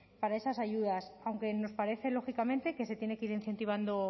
para esas ayudas aunque nos parece lógicamente que se tiene que ir incentivando